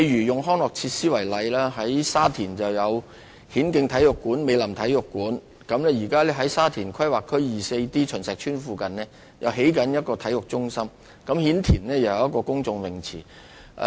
以康樂設施為例，大圍有顯徑體育館和美林體育館；在沙田第 24D 區秦石邨附近，現時正在興建體育中心；顯田也有一個公眾泳池。